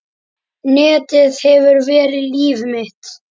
Netið hefur verið líf mitt.